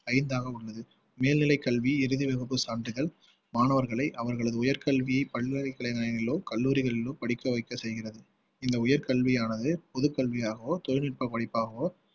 ஐந்தாக உள்ளது மேல்நிலை கல்வி இறுதி வகுப்பு சான்றிதழ் மாணவர்களை அவர்களது உயர்கல்வி பல்வேறு கிளை நிலையங்களிலோ கல்லூரிகளிலோ படிக்க வைக்க செய்கிறது இந்த உயர்கல்வியானது பொதுக் கல்வியாகவோ தொழில்நுட்பப் படிப்பாகவோ